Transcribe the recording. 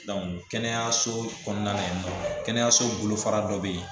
kɛnɛyaso kɔnɔna na yen kɛnɛyaso bolofara dɔ bɛ yen